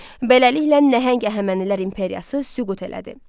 Beləliklə nəhəng Əhəmənilər imperiyası süqut elədi.